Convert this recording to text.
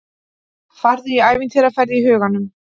Farðu í ævintýraferð í huganum.